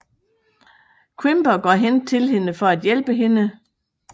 Quimper går hen til hende for at hjælpe hende